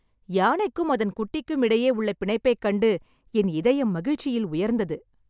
யானைக்கும் அதன் குட்டிக்கும் இடையே உள்ள பிணைப்பைக் கண்டு என் இதயம் மகிழ்ச்சியில் உயர்ந்தது.